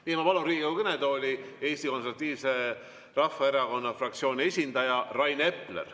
Ja ma palun Riigikogu kõnetooli Eesti Konservatiivse Rahvaerakonna fraktsiooni esindaja Rain Epleri.